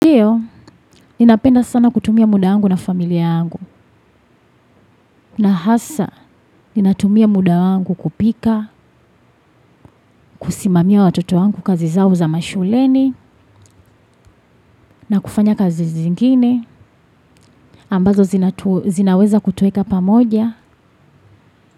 Ninapenda sana kutumia muda wangu na familia yangu na hasa ninatumia muda wangu kupika, kusimamia watoto wangu kazi zao za mashuleni na kufanya kazi zingine ambazo zinaweza kutueka pa moja.